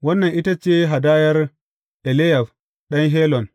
Wannan ita ce hadayar Eliyab ɗan Helon.